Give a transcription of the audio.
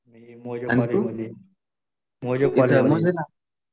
मी मोजे कॉलेज मध्ये. मोजे कॉलेज